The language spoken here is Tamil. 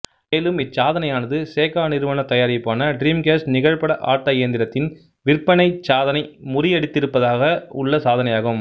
மேலும் இச்சாதனையானது சேகா நிறுவனத் தயாரிப்பான ட்ரீம்கேஸ்ட் நிகழ்பட ஆட்ட இயந்திரத்தின் விற்பனை சாதனை முறியடித்திருப்பதாக உள்ள சாதனையாகும்